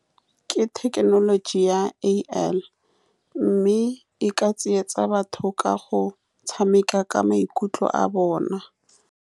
Ke thekenoloji ya A_I, mme e ka tsietsa batho ka go tshameka ka maikutlo a bona.